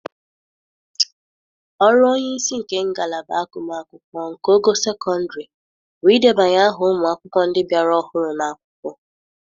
Ọrụ onye isi nke ngalaba agụm akwụkwọ nke ogo sekọndrị bụ idebanye ahụ ụmụ akwụkwọ ndị bịara ahụrụ ná-akwụkwọ